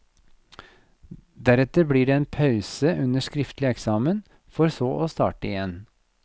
Deretter blir det en pause under skriftlig eksamen, for så å starte igjen.